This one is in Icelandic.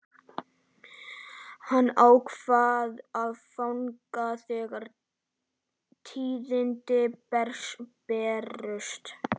Hann ákvað að fagna þegar tíðindin bærust.